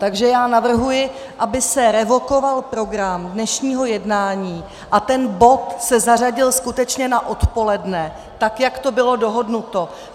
Takže já navrhuji, aby se revokoval program dnešního jednání a ten bod se zařadil skutečně na odpoledne, tak jak to bylo dohodnuto.